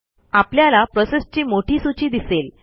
आपल्याला प्रोसेसची मोठी सूची दिसेल